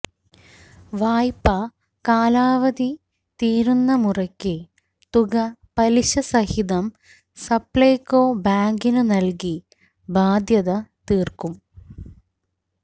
വായ്പാ കാലാവധി തീരുന്നമുറയ്ക്ക് തുക പലിശസഹിതം സപ്ലൈകോ ബാങ്കിനു നല്കി ബാധ്യത തീര്ക്കും